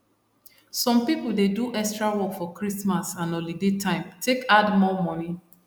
some people dey do extra work for christmas and holiday time take add more money